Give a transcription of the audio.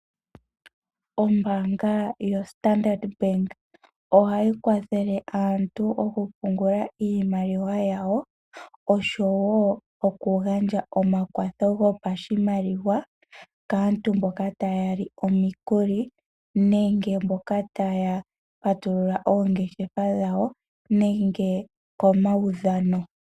Ombaanga yoStandard ohayi kwathele aantu okupungula iimaliwa yawo, oshowo okugandja omakwatho gopashimaliwa kaantu mboka taya li omikuli, nenge mbyoka taya patulula oongeshefa dhawo, nenge komaudhano.